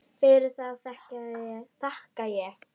Fyrir það þakka ég.